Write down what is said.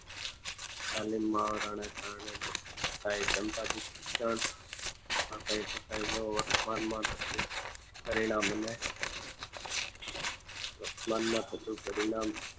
તાલીમ મુહાવરાને કારણે કઈ ના વર્તમાનમાં થતું પરિણામને વર્તમાનમાં થતું પરિણામ